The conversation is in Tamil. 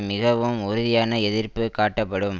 மிகவும் உறுதியான எதிர்ப்பு காட்டப்படும்